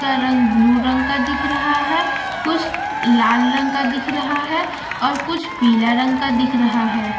उसका रंग ब्लू रंग का दिख रहा है कुछ लाल रंग का दिख रहा है और कुछ पीला रंग का दिख रहा है।